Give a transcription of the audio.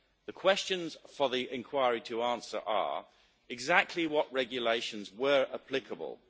The questions for the inquiry to answer are firstly, exactly what regulations were applicable